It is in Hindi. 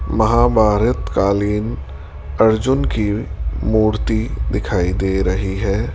महाभारत कालीन अर्जुन की मूर्ति दिखाई दे रही है।